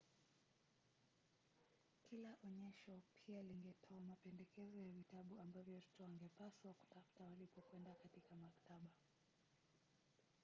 kila onyesho pia lingetoa mapendekezo ya vitabu ambavyo watoto wangepaswa kutafuta walipokwenda katika maktaba